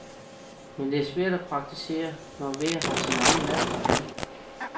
Men det er svært at praktisere, når hver har sin egen madpakke med.